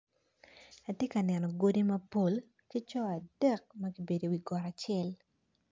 Atye ka neno godi mapol ki coo adek magibedo i wi goka acel.